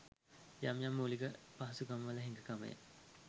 යම් යම් මූලික පහසුකම්වල හිඟ කමය.